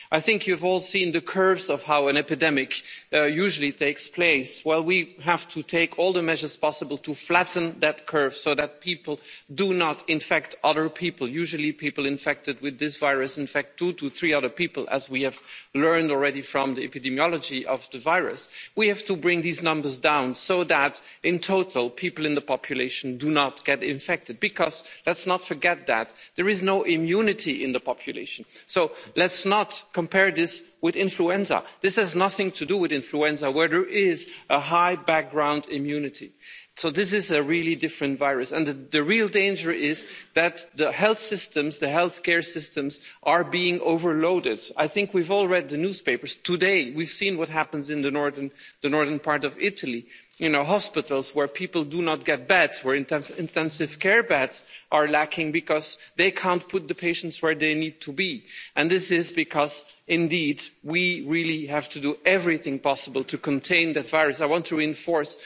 I think you have all seen the curves of how an epidemic usually takes place. Well, we have to take all the measures possible to flatten that curve so that people do not infect other people. Usually people infected with this virus infect two to three other people, as we have learned already from the epidemiology of the virus. We have to bring these numbers down so that, in total, people in the population do not get infected because, and let's not forget this, there is no immunity in the population. So let's not compare this with influenza. This has nothing to do with influenza where there is a high background immunity. This is a really different virus and the real danger is that the health systems, the healthcare systems are being overloaded. I think we've all read the newspapers. Today we've seen what is happening in the northern part of Italy. Hospitals where people do not get beds, where intensive care beds are lacking because they can't put the patients where they need to be. Indeed, we really have to do everything possible to contain that virus. I want to